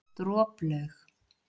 Droplaug